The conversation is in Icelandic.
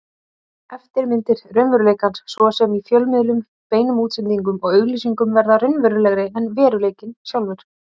Eftirmyndir raunveruleikans, svo sem í fjölmiðlum, beinum útsendingum og auglýsingum, verða raunverulegri en veruleikinn sjálfur.